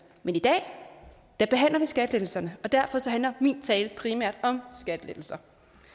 men i dag behandler vi skattelettelserne og derfor handler min tale primært om skattelettelser